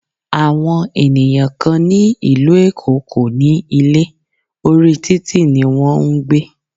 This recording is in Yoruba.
Àwọn ènìyàn kán ní ìlú Èkó kò ní ilé, orí títì ní wọn ń gbé.